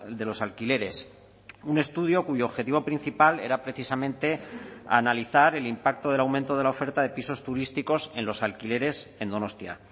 de los alquileres un estudio cuyo objetivo principal era precisamente analizar el impacto del aumento de la oferta de pisos turísticos en los alquileres en donostia